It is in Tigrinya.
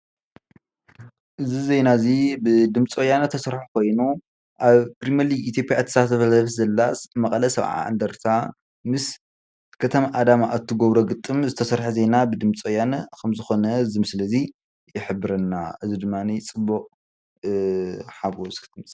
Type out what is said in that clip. እዚ ዜና እዚ ብድምፂ ወያነ ዝተሰረሓ ኮይኑ ኣብ ፕሬምሊግ ኢትዮጵያ እትሳተፍ ዘላ መቐለ ሰብዓ እንደርታ ምስ ከተማ አዳማ እትገብሮ ግጥም ኮይኑ፣ እዚ ድማ ፅቡቅ ሓጎስ እዩ።